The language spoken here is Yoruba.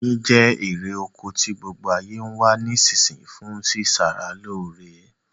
Oyin je erè oko ti gbogbo ayé n wa ni isínsinyí fun si sara lóre